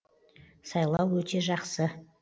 сайлау өте жақсы